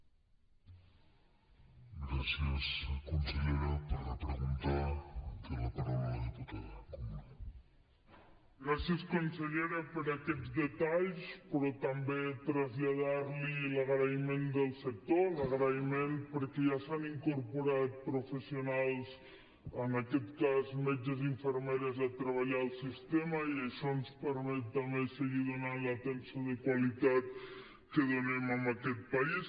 gràcies consellera per aquests detalls però també traslladar li l’agraïment del sector l’agraïment perquè ja s’han incorporat professionals en aquest cas metges i infermeres a treballar al sistema i això ens permet també seguir donant l’atenció de qualitat que donem en aquest país